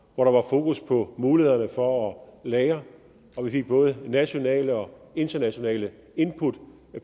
hvor der var fokus på mulighederne for at lagre og vi fik både nationale og internationale input